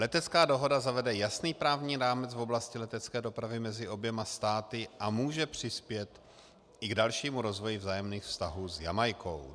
Letecká dohoda zavede jasný právní rámec v oblasti letecké dopravy mezi oběma státy a může přispět i k dalšímu rozvoji vzájemných vztahů s Jamajkou.